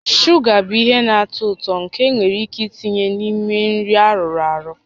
Shuga bụ ihe na-atọ ụtọ nke enwere ike itinye n'ime nri arụrụ arụ